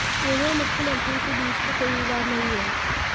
मेरे और मुख्यमंत्री के बीच तो कोई विवाद नहीं है